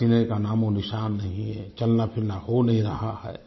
पसीने का नामओनिशान नहीं है चलनाफिरना हो नहीं रहा है